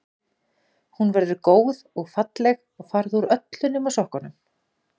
Hún verður góð og falleg og farðu úr öllu nema sokkunum.